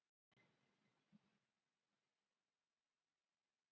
En ég blygðaðist mín.